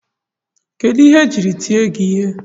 Kedụ ihe ejiri tie gị ihe?